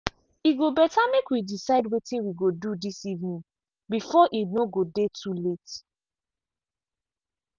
e go better make we decide wetin we go do this evening before e no go dey too late